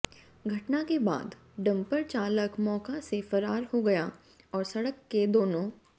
घटना के बाद डंपर चालक मौका से फरार हो गया और सड़क के दोनों